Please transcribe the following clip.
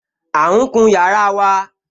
À ún kun yàrá wa